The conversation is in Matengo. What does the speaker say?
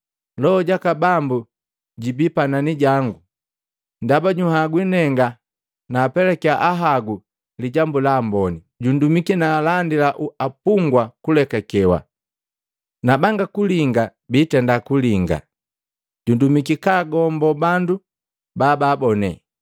“Loho jaka Bambu jubi panani jangu, ndaba juhagwi nenga naapelakya Ahagu Lijambu la Amboni. Jundumiki naalandila apungwa kulekakewa, na banga kulinga biitenda kulinga. Jundumiki kagombo bandu bababone,